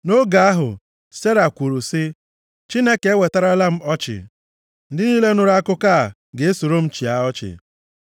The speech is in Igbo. Nʼoge ahụ, Sera kwuru sị, “Chineke ewetarala m ọchị. Ndị niile nụrụ akụkọ a ga-esoro m chịa ọchị.”